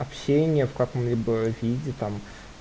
общение в каком-либо виде там